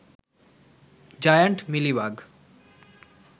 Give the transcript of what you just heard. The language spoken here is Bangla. giant milli bug